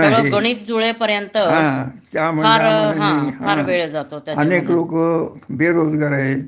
सगळं गणित जुळेपर्यंत फार हा फार वेळ जातो त्याच्यात